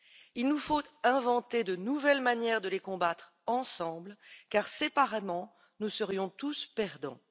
Il nous faut inventer de nouvelles manières de les combattre ensemble car séparément, nous serions tous perdants.